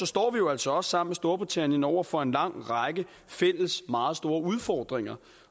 står vi jo altså også sammen med storbritannien over for en lang række fælles meget store udfordringer